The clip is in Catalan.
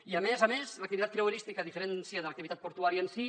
i a més a més l’activitat creuerística a diferència de l’activitat portuària en sí